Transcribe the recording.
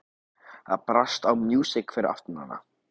Það brast á músík fyrir aftan hana.